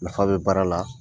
Nafa bɛ baara la.